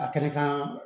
A kɛnɛ kan